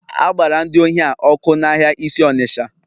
A gbara ndị ohi a ọkụ n'ahịa isi Onitsha